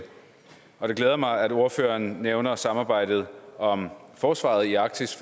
og det glæder mig at ordføreren nævner samarbejdet om forsvaret i arktis